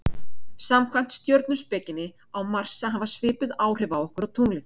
Samkvæmt stjörnuspekinni á Mars að hafa svipuð áhrif okkur og tunglið.